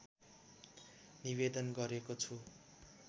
निवेदन गरेको छु